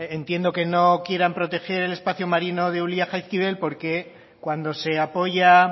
entiendo que no quieran proteger el espacio marino de ulia jaizkibel porque cuando se apoya